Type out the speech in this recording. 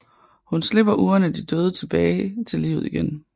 Hun slipper ugerne de døde tilbage til livet igen